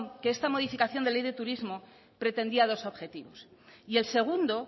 que esta modificación de ley de turismo pretendía dos objetivos y el segundo